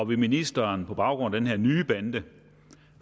vil ministeren på baggrund af den her nye bande